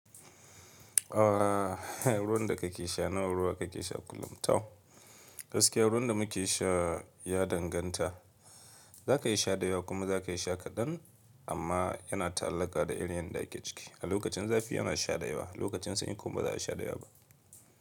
A ruwan da ka ke sha nawa ruwa ka ke sha kullum? Toh gaskiya ruwan da mu ke sha ya danganta. Za ka iya sha dayawa kuma za ka iya sha kaɗan amma yana ta'allaka da irin yadda ki ke ciki. A lokacin zafi yana sha dayawa, lokacin sanyi kuma ba za a sha dayawa ba.